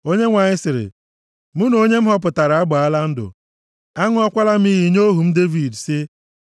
Onyenwe anyị sịrị, “Mụ na onye m họpụtara agbaala ndụ. Aṅụọkwala m iyi nye ohu m Devid sị,